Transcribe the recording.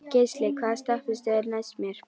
Geisli, hvaða stoppistöð er næst mér?